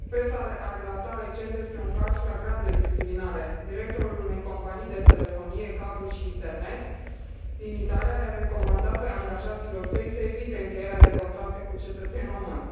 Presa a relatat recent despre un caz flagrant de discriminare directorul unei companii de telefonie, cablu și internet din Italia le a recomandat angajaților săi să evite încheierea de contracte cu cetățeni români.